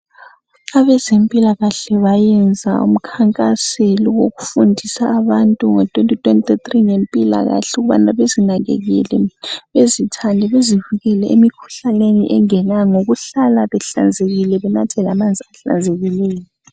Abezempilakahle bayenza umkhankaselo wokufundisa abantu ngo2023 ngempilakahke ukubana bezinakekele bezithande bezivikele emikhuhlaneni engenayo ngokuhlala behlanzekile benathe lamanzi ahlanzekileyo.